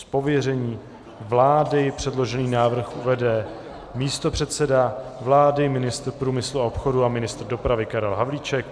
Z pověření vlády předložený návrh uvede místopředseda vlády, ministr průmyslu a obchodu a ministr dopravy Karel Havlíček.